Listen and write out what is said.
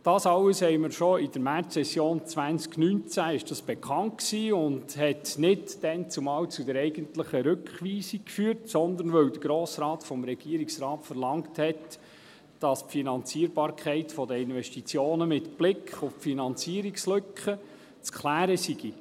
Dies alles war schon in der Märzsession 2019 bekannt, war aber dazumal nicht der eigentliche Grund für die Rückweisung, sondern weil der Grosse Rat vom Regierungsrat verlangte, dass die Finanzierbarkeit der Investitionen mit Blick auf die Finanzierungslücke zu klären sei.